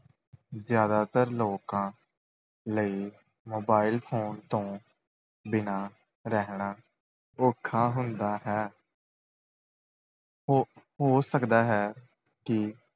ਜ਼ਿਆਦਾਤਰ ਲੋਕਾਂ ਲਈ mobile phone ਤੋਂ ਬਿਨਾਂ ਰਹਿਣਾ ਔਖਾ ਹੁੰਦਾ ਹੈ ਹੋ ਹੋ ਸਕਦਾ ਹੈ ਕਿ